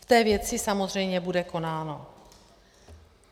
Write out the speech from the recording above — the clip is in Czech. V té věci samozřejmě bude konáno.